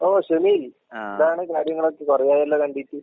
ഓ ഷമീൽ. എന്താണ് കാര്യങ്ങളൊക്കെ? കൊറേയായല്ലോ കണ്ടിട്ട്?